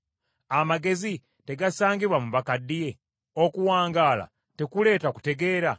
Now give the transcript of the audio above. Amagezi tegasangibwa mu bakaddiye? Okuwangaala tekuleeta kutegeera?